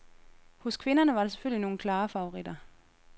Hos kvinderne var der selvfølgelig nogle klare favoritter.